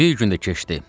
Bir gün də keçdi.